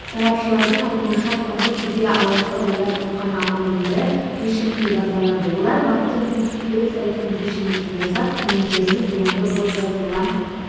сарапшылардың айтуынша соңғы кезде алаяқтар ойлап тапқан амалдың бірі фишинг деп аталады олар банктердің веб-сайтының көшірмесін жасап клиенттеріне зиянды код жазылған